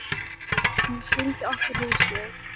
Hún sýndi okkur húsið.